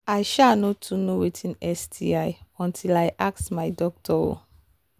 i um no too know watin sti until i ask my doctor um